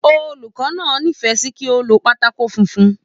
Olùkọ náà n'ifẹ sí kí o ló pátákó funfun.